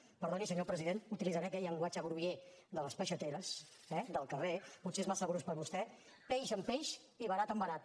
perdoni senyor president utilitzaré aquell llenguatge groller de les peixateres eh del carrer potser és massa brusc per a vostè peix amb peix i verat amb verat